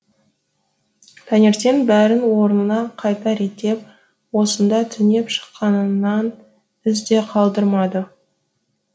таңертең бәрін орнына қайта реттеп осында түнеп шыққанынан із де қалдырмады